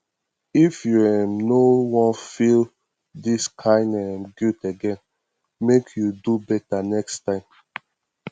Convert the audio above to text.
if you um no wan feel dis kain um guilt again make you do beta next time